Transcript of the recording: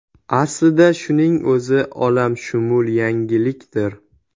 Aslida shuning o‘zi olamshumul yangilikdir.